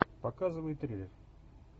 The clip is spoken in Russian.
показывай триллер